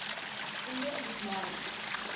indian ismailis